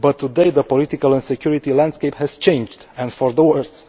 But today the political and security landscape has changed, and for the worse.